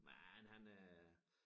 Men han øh